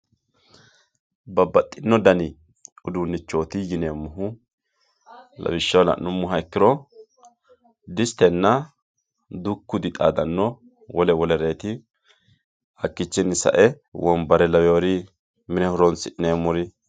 Babaximo danni udunichoti yineemohu lawisha la'numoha ikkiro disitenna duku dixaadano wole wolereti hakichini sae wombare lawiyori mine horo'nisi'nemori.